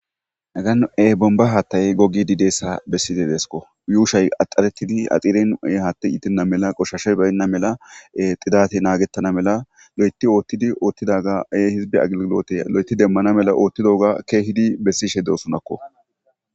Nagan'e bomba haattay gogidi deessa bessize deesko yuushay axxaretidi axiren ee haatti itinna mela qoshashe baynna mela xidate naagettana mela lo'eti oottidi oothtidaga ee hizbe agllote lo'eti demmana mela oottidoga keehidi bessishe dosunakko